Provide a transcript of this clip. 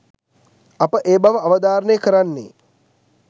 අප ඒ බව අවධාරණය කරන්නේ